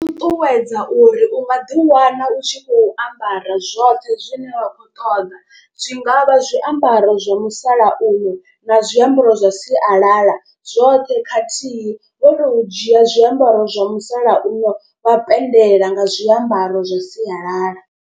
Ṱuṱuwedza uri u ngaḓi wana u tshi khou ambara zwoṱhe zwine wa khou ṱoḓa. Zwi nga vha zwiambaro zwa musalauno na zwiambaro zwa sialala, zwoṱhe khathihi wo to u dzhia zwiambaro zwa musalauno wa penndela nga zwiambaro zwa sialala.